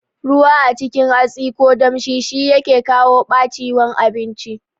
Ruwa a cikin hatsi ko damshi shi yake kawo ɓaciwan abinci